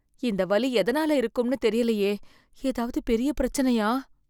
இந்த வலி எதனால இருக்கும்னு தெரியலையே. ஏதாவது பெரிய பிரச்சனையா?